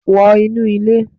Wọ inu ile